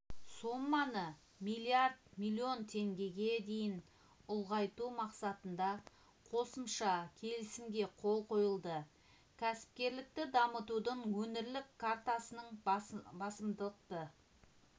соманы млрд млн теңгеге дейін ұлғайту мақсатында қосымша келісімге қол қойылды кәсіпкерлікті дамытудың өңірлік картасының басымдықты